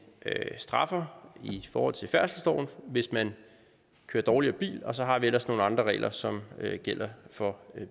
straffer i forhold til færdselsloven hvis man kører dårligere bil og så har vi ellers nogle andre regler som gælder for